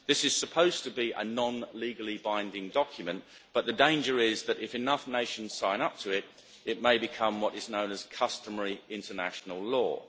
This is supposed to be a non legally binding document, but the danger is that if enough nations sign up to it, it may become what is known as customary international law.